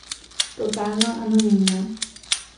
Totalno anonimna.